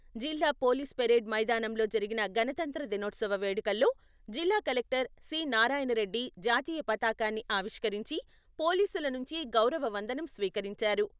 జిల్లా police parade మైదానంలో జరిగిన గణతంత్ర దినోత్సవ వేడుకల్లో జిల్లా కలెక్టర్ సి.నారాయణ రెడ్డి జాతీయ పతాకాన్ని ఆవిష్కరించి, పోలీసుల నుంచి గౌరవ వందనం స్వీకరించారు.